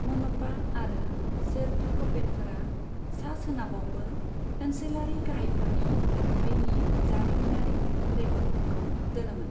मनपा आरो शेरडुकपेनफोरा सा सोनाबावबो ओनसोलारि गाहायफोरनि थाथायनि जारिमिनारि रेकर्डफोरखौ दोनोमोन।